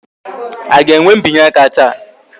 A ga-enwe mbinye aka taa?